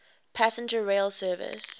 passenger rail service